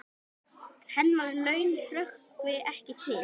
Hennar laun hrökkvi ekki til.